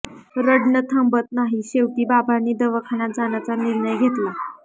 रडण थांबत नाही शेवटी बाबांनी दावाखान्यात जाण्याचा निर्णय घेतला